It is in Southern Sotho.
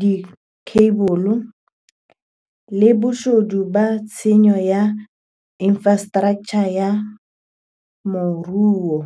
dikheibole, le boshodu le tshenyo ya infrastraktjha ya moruo.